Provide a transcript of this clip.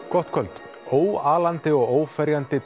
gott kvöld óalandi og óferjandi